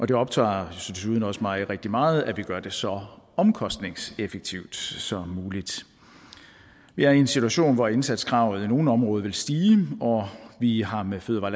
det optager desuden også mig rigtig meget at vi gør det så omkostningseffektivt som muligt vi er i en situation hvor indsatskravet i nogle områder vil stige og vi har med fødevare